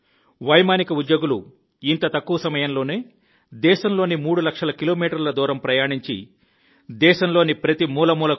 వైమానిక ఉద్యోగులు ఇంత తక్కువ సమయంలోనే దేశంలోని మూడు లక్షల కిలోమీటర్ల దూరం ప్రయాణించి దేశంలోని ప్రతి మూల మూలలో